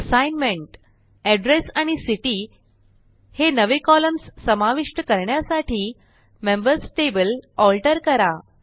assignment address आणि city हे नवे कॉलम्स समाविष्ट करण्यासाठी मेंबर्स टेबल आल्टर करा